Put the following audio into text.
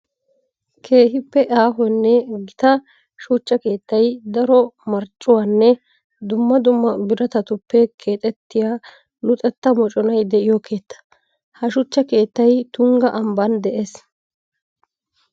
Keehippe aahonne gita shuchcha keettay daro marccuwanne dumma dumma biratatuppe keexettiya luxetta moconay de'iyo keetta. Ha shuchcha keettay tungga ambban de'ees.